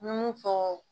N bɛ mun fɔ